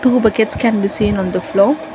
two buckets can be seen on the floor.